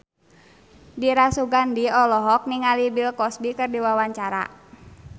Dira Sugandi olohok ningali Bill Cosby keur diwawancara